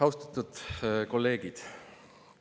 Austatud kolleegid!